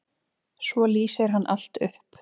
Svo lýsir hann allt upp.